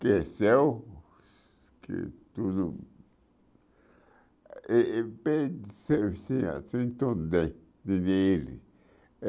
cresceu, que tudo...Eh eh tudo bem.